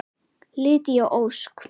Lydia Ósk.